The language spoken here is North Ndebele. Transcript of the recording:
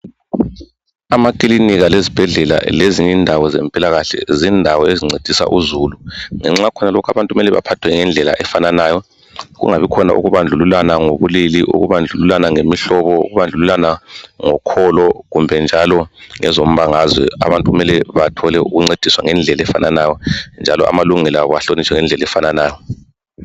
Amakiliniķa, izibhedlela lezinye indawo zezempilakahle zindawo ezincedisa uzulu abantu kumele baphathwe ngokufananayo. Akumelanga kubekhona ukubandlululana ngobulili, ngemihlobo, ngokholo kumbe njalo ngezombangazwe. Abantu kumele bathole ukuncediswa ngendlela efananayo lamalungelo abo ahlonitshwe ngokufananayo